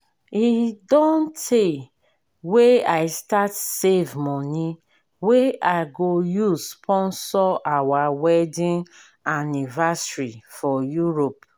e don tey wey i start save money wey i go use sponsor our wedding anniversary for europe